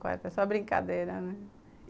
Mas era só brincadeira, né?